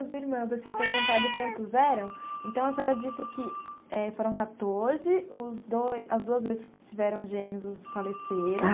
Os irmãos, eu tinha perguntado quantos eram, então a senhora disse que eh foram quatorze, os dois as duas vezes que tiveram gêmeos os faleceram.